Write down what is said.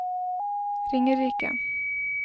Ringerike